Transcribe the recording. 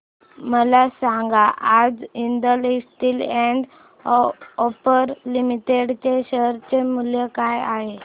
मला सांगा आज Jindal steel and power limited च्या शेअर चे मूल्य काय आहे